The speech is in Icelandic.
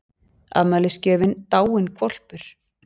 Afmælisgjöfin dáinn hvolpur